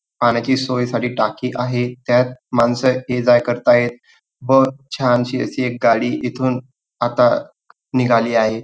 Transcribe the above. पाण्याची सोईसाठी टाकी आहे त्यात मानस ये जा करतायत व छानसी एक गाडी इथून आता निघाली आहे.